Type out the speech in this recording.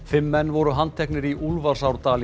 fimm menn voru handteknir í